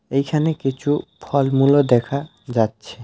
এখানে কিছু ফলমূলও দেখা যাচ্ছে।